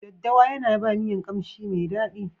Daddawa yana ba miyan kamshi mai daɗi.